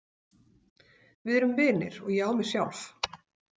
Við erum vinir og ég á mig sjálf.